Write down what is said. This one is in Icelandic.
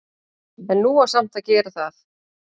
En nú á samt að gera það.